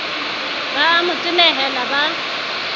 ba a mo tenehela ba